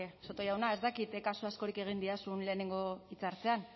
soto jauna ez dakit kasu askorik egin didazun lehenengo hitza hartzean